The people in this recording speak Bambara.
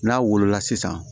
N'a wolola sisan